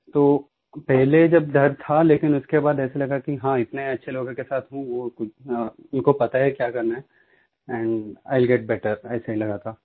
तो पहले जब डर था लेकिन उसके बाद ऐसे लगा कि हाँ इतने अच्छे लोगों के साथ हूँ वो कुछ उनको पता है कि क्या करना है and I will get better ऐसे लगा था